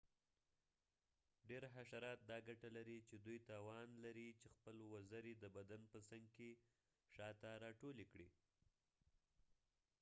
ډیر حشرات دا ګټه لري چې دوی توان لري چې خپلې وزرې د بدن په څنګ کې شاته راټولې کړي